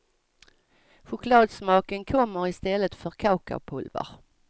Chokladsmaken kommer i stället från kakaopulver.